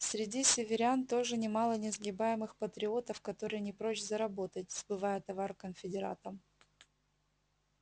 среди северян тоже немало несгибаемых патриотов которые не прочь заработать сбывая товар конфедератам